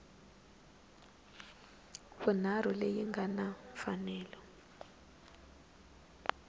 vunharhu leyi nga na mfanelo